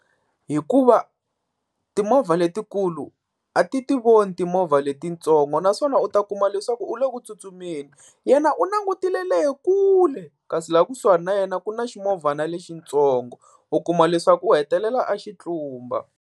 Hikuva timovha letikulu a ti ti voni timovha letitsongo, naswona u ta kuma leswaku u le ku tsutsumeni yena u langutile lekule kasi laha kusuhani na yena ku na ximovhana lexitsongo u kuma leswaku u hetelela a xi tlumba.